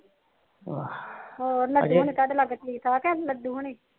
ਹੋਰ ਲੱਡੂ ਠੀਕ ਠਾਕ ਲੱਡੂ ਹੁੰਨੀ